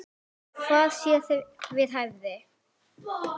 Hvað sé við hæfi.